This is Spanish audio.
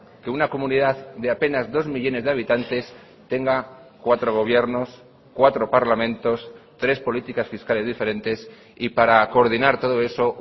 que una comunidad de apenas dos millónes de habitantes tenga cuatro gobiernos cuatro parlamentos tres políticas fiscales diferentes y para coordinar todo eso